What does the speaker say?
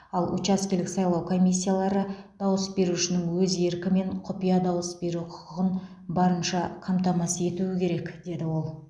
ал учаскелік сайлау комиссиялары дауыс берушінің өз еркі мен құпия дауыс беру құқығын барынша қамтамасыз етуі керек деді ол